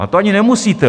A to ani nemusíte!